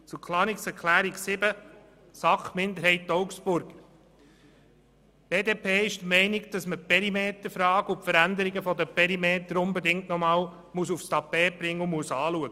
Zu Planungserklärung 7 der SAK-Minderheit/Augstburger: Die BDP ist der Meinung, dass man die Perimeterfrage und jene der Veränderung der Perimeter nochmals aufs Tapet bringen und anschauen muss.